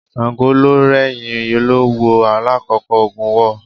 Ṣàngó ló rẹ́yìn Olówú lákòókò ogun war.